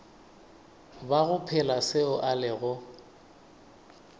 bago phela seo a lego